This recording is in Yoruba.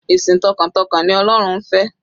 Ìsìn t'ọkàntọkàn ni ọlọ́run ń fẹ́.